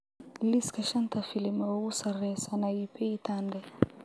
liiska shanta filim ee ugu sareeya Sanaipei Tande